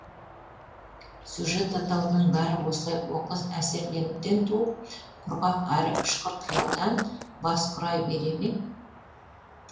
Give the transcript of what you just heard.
сюжет атаулының бәрі осылай оқыс әсерленуден туып құрғақ әрі ұшқыр қиялдан бас құрай бере ме